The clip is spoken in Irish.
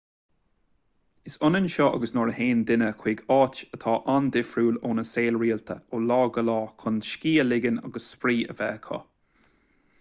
is ionann seo agus nuair a théann daoine chuig áit atá an-difriúil óna saol rialta ó lá go lá chun scíth a ligean agus spraoi a bheith acu